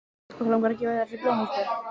Okkur langar til að gefa þér þessi blóm Ísbjörg.